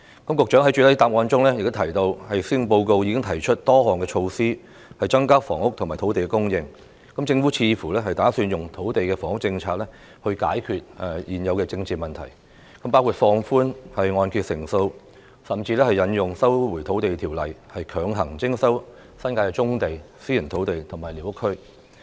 局長在主體答覆中提到，施政報告已經提出多項措施增加房屋及土地供應，政府似乎打算引用土地及房屋政策來解決現有的政治問題，包括放寬按揭成數，甚至引用《收回土地條例》，強行徵收新界的棕地、私人土地及寮屋區。